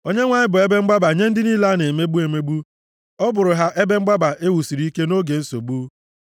Onyenwe anyị bụ ebe mgbaba nye ndị niile a na-emegbu emegbu. Ọ bụụrụ ha ebe mgbaba e wusiri ike nʼoge nsogbu.